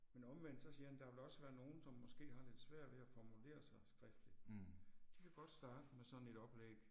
Men omvendt så siger han der vil også være nogen som måske har lidt svært ved at formulere sig skriftligt. De kan godt starte med sådan et oplæg